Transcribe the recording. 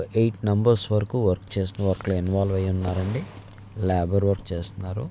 Eight numbers వరకు work చేస్తూ అక్కడ ఇన్వొల్వె ఐ ఉన్నారు అండి లబోర్ వర్క్ చేస్తున్నారు.